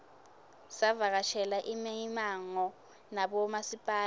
savakashela imimango nabomasipala